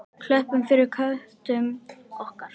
Klöppum fyrir köttum okkar!